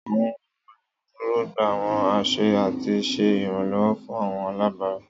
Àwọn oluduro gba àwọn aṣẹ ati ṣe iranlọwọ fun àwọn alabara.